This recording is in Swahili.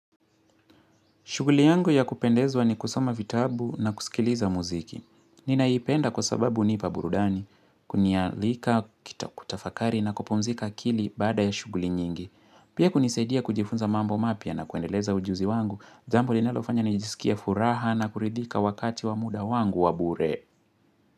Shughuli yangu ya kupendezwa ni kusoma vitabu na kusikiliza muziki. Ninaipenda kwa sababu unipa burudani, kunialika, kita kutafakari na kupumzika akili baada ya shuguli nyingi. Pia kunisaidia kujifunza mambo mapya na kuendeleza ujuzi wangu, jambo linalofanya ni jisikie furaha na kuridhika wakati wa muda wangu wabure.